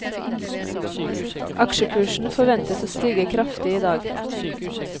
Aksjekursen forventes å stige kraftig i dag.